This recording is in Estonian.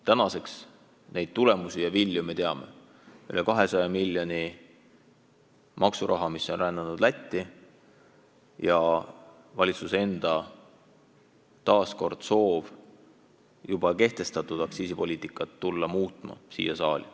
Tänaseks neid tulemusi ja vilju me teame: üle 200 miljoni maksuraha on rännanud Lätti ja valitsusel endal on taas soov tulla siia saali juba kehtestatud aktsiisipoliitikat muutma.